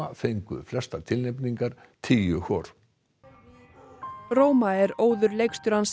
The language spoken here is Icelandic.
fengu flestar tilnefningar tíu hvor roma er óður leikstjórans